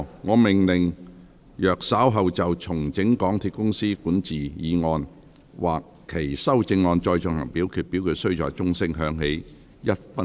我命令若稍後就"重整港鐵公司管治"所提出的議案或修正案再進行點名表決，表決須在鐘聲響起1分鐘後進行。